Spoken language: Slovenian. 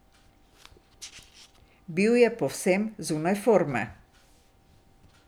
Bil je povsem zunaj forme.